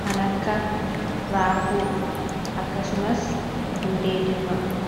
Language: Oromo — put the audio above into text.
kan akka raafuu akkasumas hundee diimaa.